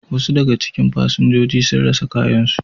Wasu daga cikin fasinjojin sun rasa kayansu.